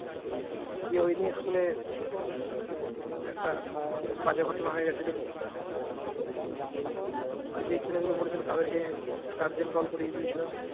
দিয়ে ওই নিয়ে school এ একটা বাজে ঘটনা হয়ে গেছিল যেই ছেলেগুলো বলেছিল তাদেরকে guardian call করে দিয়েছিল।